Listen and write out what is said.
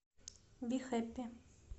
би хэппи